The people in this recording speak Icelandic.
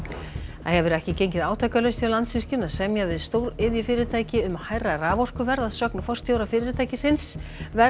það hefur ekki gengið átakalaust fyrir Landsvirkjun að semja við stóriðjufyrirtæki um hærra raforkuverð að sögn forstjóra fyrirtækisins verðið